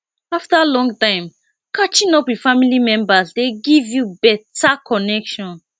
after long time catching up with family members dey give you better connection